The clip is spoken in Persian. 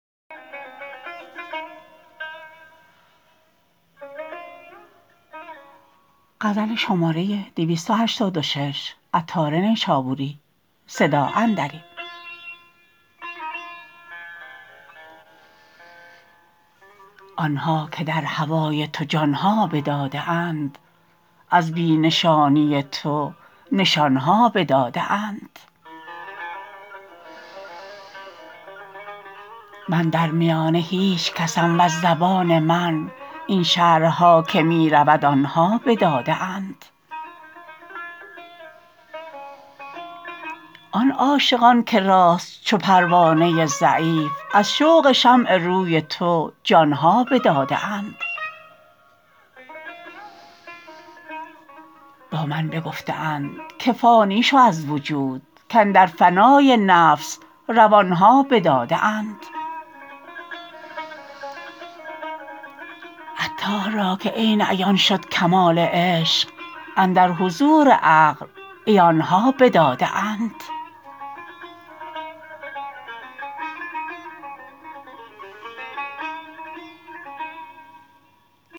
آنها که در هوای تو جان ها بداده اند از بی نشانی تو نشان ها بداده اند من در میانه هیچ کسم وز زبان من این شرح ها که می رود آنها بداده اند آن عاشقان که راست چو پروانه ضعیف از شوق شمع روی تو جان ها بداده اند با من بگفته اند که فانی شو از وجود کاندر فنای نفس روان ها بداده اند عطار را که عین عیان شد کمال عشق اندر حضور عقل عیان ها بداده اند